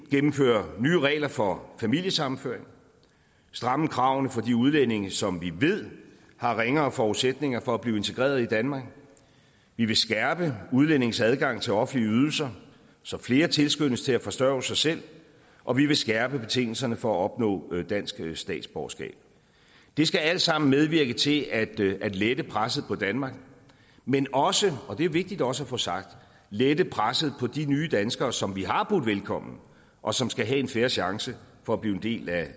gennemføre nye regler for familiesammenføring stramme kravene for de udlændinge som vi ved har ringere forudsætninger for at blive integreret i danmark vi vil skærpe udlændinges adgang til offentlige ydelser så flere tilskyndes til at forsørge sig selv og vi vil skærpe betingelserne for at opnå dansk statsborgerskab det skal alt sammen medvirke til at lette presset på danmark men også og det er vigtigt også at få sagt det lette presset på de nye danskere som vi har budt velkommen og som skal have en fair chance for at blive en del